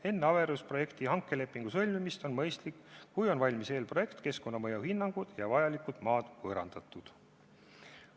Enne averuse raames hankelepingu sõlmimist on mõistlik, et oleksid valmis eelprojekt ja keskkonnamõju hinnangud ning vajalikud maad oleksid võõrandatud.